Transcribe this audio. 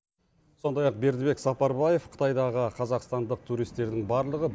сондай ақ бердібек сапарбаев қытайдағы қазақстандық туристердің барлығы